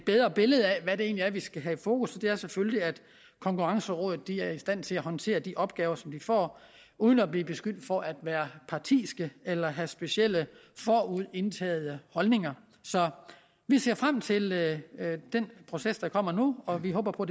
bedre billede af hvad det egentlig er vi skal have i fokus og det er selvfølgelig at konkurrencerådet er i stand til at håndtere de opgaver som de får uden at blive beskyldt for at være partiske eller at have specielle forudindtagede holdninger så vi ser frem til den proces der kommer nu og vi håber på